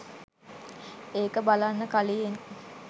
ඒක බලන්න කලියෙන්.